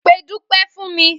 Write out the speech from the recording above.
Pe Dúpé̩ fún mi!